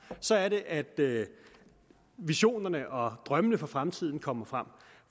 så er det at visionerne og drømmene for fremtiden kommer frem